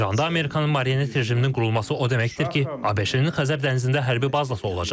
İranda Amerikanın marionet rejiminin qurulması o deməkdir ki, ABŞ-nin Xəzər dənizində hərbi bazası olacaq.